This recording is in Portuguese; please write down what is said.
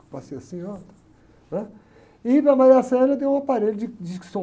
Que eu passei assim, ó, né? E para a eu dei um aparelho de, de som.